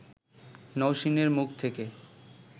নওশীনের মুখ থেকে